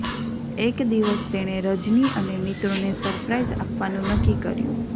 એક દિવસ તેણે રજની અને મિત્રોને સરપ્રાઈઝ આપવાનું નક્કી કર્યું